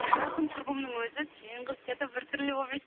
жақын құрбымның өзі сен қыз че то бір түрлі болып жүрсің